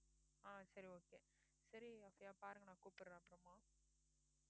ஆஹ் சரி okay சரி okay பாருங்க நான் கூப்படுறேன் அப்பறமா